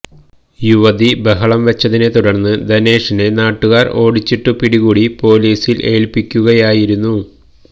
യുവതി ബഹളം വെച്ചതിനെ തുടര്ന്ന് ധനേഷിനെ നാട്ടുകാര് ഓടിച്ചിട്ടു പിടികൂടി പോലീസില് ഏല്പിക്കുകയായിരുന്നു